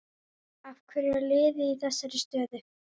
Af hverju er liðið í þessari stöðu?